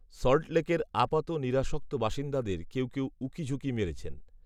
সল্টলেকের, আপাত নিরাসক্ত বাসিন্দাদের কেউ কেউ, উঁকিঝুঁকি মেরেছেন